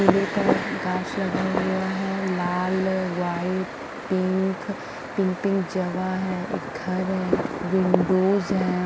फूलों का गास लगा हुआ है लाल वाइट पिंक पिंक पिंक जगह है एक घर है विन्डोज है।